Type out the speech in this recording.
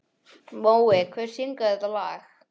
Mói, hver syngur þetta lag?